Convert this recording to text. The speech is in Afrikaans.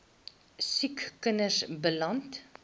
siek kinders beland